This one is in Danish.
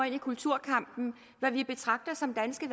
i kulturkampen hvad vi betragter som danske